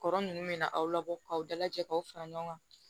Kɔrɔ nunnu bɛ na aw labɔ k'aw dalajɛ k'aw fara ɲɔgɔn kan